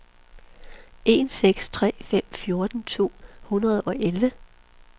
en seks tre fem fjorten to hundrede og elleve